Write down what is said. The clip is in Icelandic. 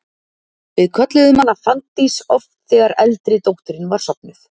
Við kölluðum hana Fanndís oft þegar eldri dóttirin var sofnuð.